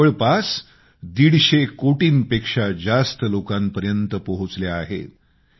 त्या जवळपास दीडशे कोटींपेक्षा जास्त लोकांपर्यंत पोहोचल्या आहेत